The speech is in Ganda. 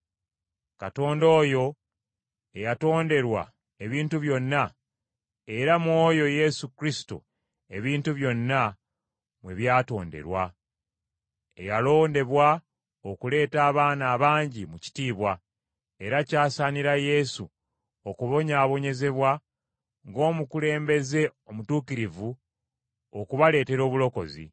Katonda oyo eyatonderwa ebintu byonna, era mu oyo Yesu Kristo ebintu byonna mwe byatonderwa, eyalondebwa okuleeta abaana abangi mu kitiibwa. Era kyasaanira Yesu okubonyaabonyezebwa, ng’omukulembeze omutuukirivu, okubaleetera obulokozi.